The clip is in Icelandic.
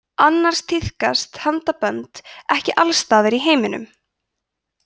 annars tíðkast handabönd ekki alls staðar í heiminum